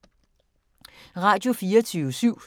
Radio24syv